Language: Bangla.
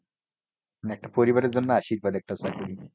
একটা পরিবারের জন্য আশীর্বাদ একটা চাকরি